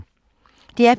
DR P3